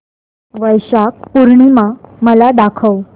वैशाख पूर्णिमा मला दाखव